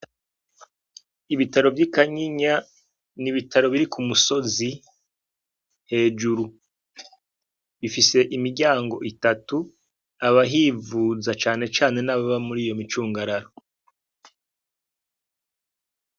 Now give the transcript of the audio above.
Ibitaro vyi kanyinya n'ibitaro biri kumusozi hejuru, bifise imiryango itatu, abahivuza cane cane nababa muriyo micugararo.